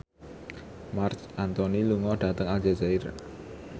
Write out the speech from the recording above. Marc Anthony lunga dhateng Aljazair